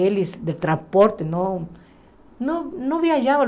Eles, do transporte, não não não viajavam.